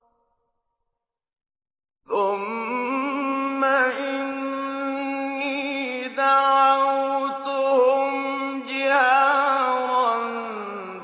ثُمَّ إِنِّي دَعَوْتُهُمْ جِهَارًا